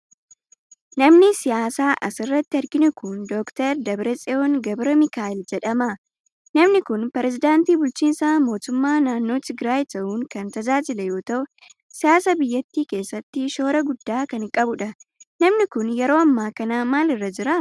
Namni siyaasaa as irratti arginu kun, Doktar Dabratsiyoon Gabramikaa'eel jedhama. Namni kun, pireezidantii bulchiinsa mootummaa naannoo Tigraay ta'uun kan tajaajile yoo ta'u, siyaasa biyyattii keessatti shoora guddaa kan qabuu dha. Namni kun yeroo ammaa kana maal irra jira?